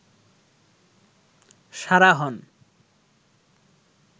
সারা হন